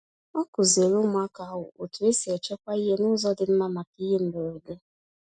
Ọ kụziri ụmụaka ahụ otu esi echekwa ihe n'ụzọ dị mma maka ihe mberede.